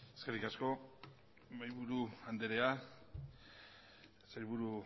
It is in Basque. eskerri asko mahaiburu andereak sailburu